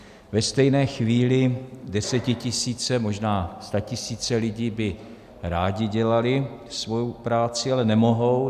Ve stejné chvíli desetitisíce, možná statisíce lidí by rády dělaly svoji práci, ale nemohou.